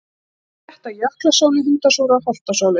Þá spretta jöklasóley, hundasúra, holtasóley.